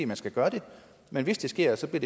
man skal gøre det men hvis det sker så bliver